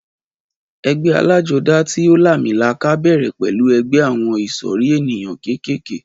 Ẹgbẹ́ alájodá tí o làmìlaka bèrè pẹlú ẹgbẹ àwọn ìsòrí ènìyàn kékèké